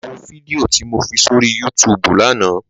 Lò wó fídìó ti mó fi sóri yútùbú làná